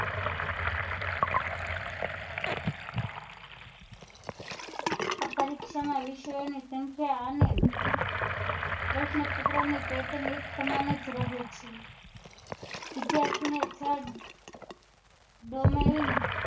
આ પરીક્ષા ના વિષયો ના સંખ્યા અને પ્રશ્ન પત્રો ની pattern એક સમાન જ રહે છે વિદ્યાર્થી ને